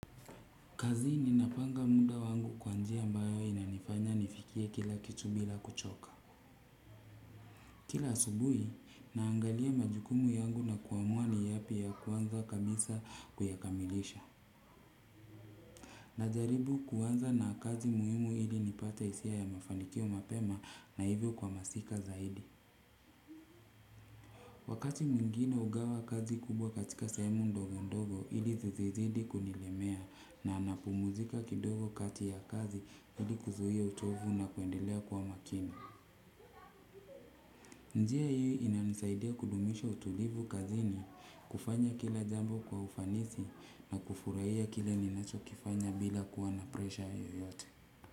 Kazi ninapanga muda wangu kwa njia ambayo inanifanya nifikie kila kitu bila kuchoka. Kila asubuhi naangalia majukumu yangu na kuamua ni yepi ya kuanza kabisa kuyakamilisha. Najaribu kuanza na kazi muhimu ili nipate hisia ya mafanikio mapema na hivyo kwa masika zaidi. Wakati mwingine hugawa kazi kubwa katika sehemu ndogo ndogo ili zizizidi kunilemea na napumuzika kidogo kati ya kazi ili kuzuia uchovu na kuendelea kwa makini. Njia hii inanisaidia kudumisha utulivu kazi ni kufanya kila jambo kwa ufanisi na kufurahia kile ninacho kifanya bila kuwa na presha yoyote.